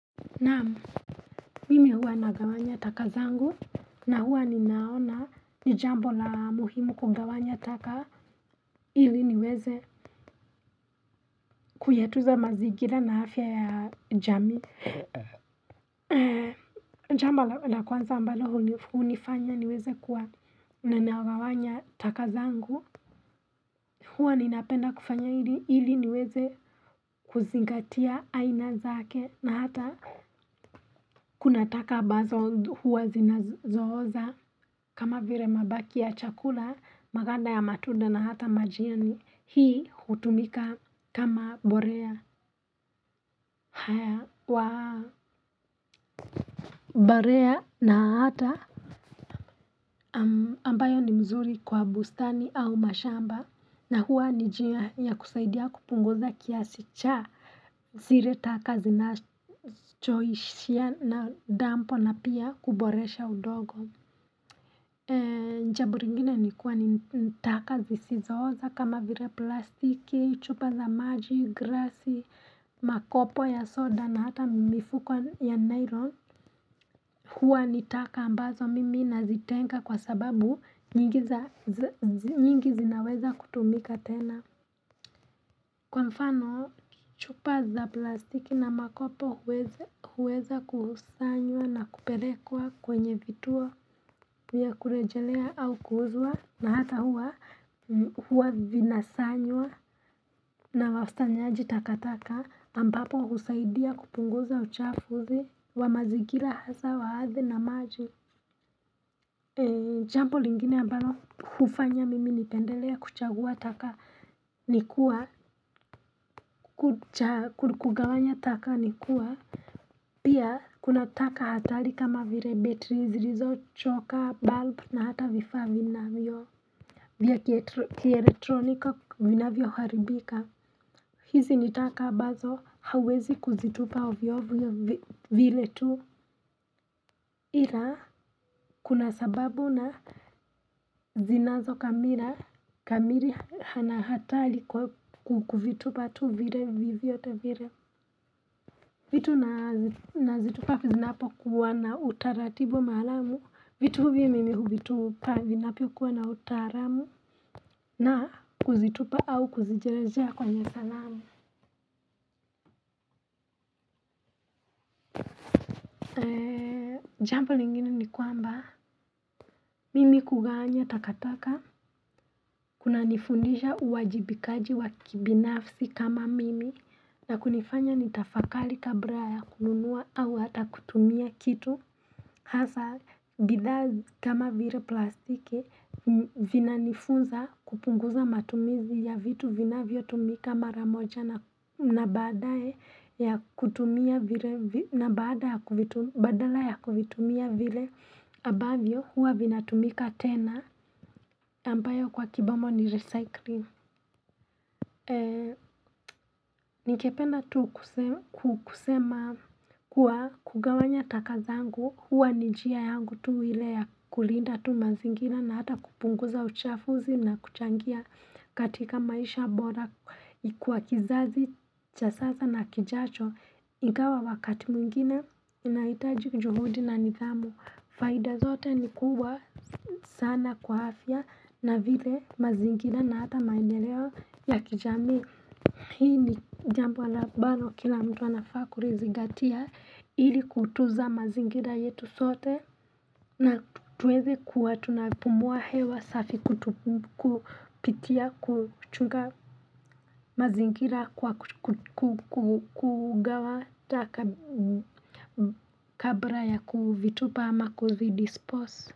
Naam, mimi huwa nagawanya taka zangu na huwa ninaona ni jambo la muhimu kugawanya taka ili niweze kuyatuza mazigira na afya ya jamii Jamba la kwanza ambalo hunifanya niweze kuwa nagawanya taka zangu huwa ninapenda kufanya hili niweze kuzingatia aina zake na hata kuna taka ambazo huwa zinazooza kama vire mabaki ya chakula maganda ya matunda na hata majani hii hutumika kama borea haya wa barea na hata ambayo ni mzuri kwa bustani au mashamba na huwa ni jia ya kusaidia kupunguza kiasi cha zire taka zina choishia na dampo na pia kuboresha udogo. Njabo ringine ni kuwa ni taka zisizooza kama vire plastiki, chupa za maji, grasi, makopo ya soda na hata mifuko ya nylon huwa ni taka ambazo mimi nazitenga kwa sababu nyingi zinaweza kutumika tena. Kwa mfano chupa za plastiki na makopo huweza kusanywa na kuperekwa kwenye vituo vya kurejelea au kuuzwa na hata huwa huwa vinasanywa na wausanyaji takataka ambapo husaidia kupunguza uchafuzi wa mazigila hasa wa athi na maji jambo lingine ambalo hufanya mimi nipendelea kuchagua taka ni kuwa kugawanya taka nikuwa Pia kuna taka hatari kama vire batteries zirizo choka bulb na hata vifa vina vyo vya kielectronika vinavyo haribika hizi ni taka abazo hauwezi kuzitupa ovyo ovyo vile tu Ila kuna sababu na zinazo kamira kamiri na hatali kuvitupa tu vire vivi vyote vire vitu nazitupa zinapo kuwa na utaratibu maalamu vitu hivi mimi huvitupa vinapo kuwa na utaaramu na kuzitupa au kuzijerezea kwenye salamu Jambo lingine ni kwamba, mimi kugawanya takataka kuna nifundisha uwajibikaji wa kibinafsi kama mimi na kunifanya nitafakali kabra ya kununua au hata kutumia kitu Hasa bidhaa kama vire plastiki vina nifunza kupunguza matumizi ya vitu vinavyo tumika mara moja na badala ya kuvitumia vile abavyo huwa vina tumika tena ambayo kwa kibamo ni recycling Ningependa tu kusema kuwa kugawanya taka zangu huwa ni jia yangu tu ile ya kulinda tu mazingira na hata kupunguza uchafuzi na kuchangia katika maisha bora Ikwa kizazi cha sasa na kijacho Ingawa wakati mwingine inaitaji juhudi na nithamu Faida zote ni kubwa sana kwa afya na vile mazingina na hata maendeleo ya kijamii hii ni jambo abalo kila mtu anafaa kurizigatia hili kutuza mazingira yetu sote na tuweze kuwa tunapumuwa hewa safi kupitia kuchunga mazingira kwa kugawa taka kabra ya kuvitupa ama kuzidispose.